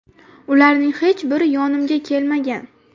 Ularning hech biri yonimga kelmagan.